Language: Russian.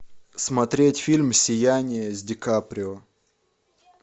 смотреть фильм сияние с ди каприо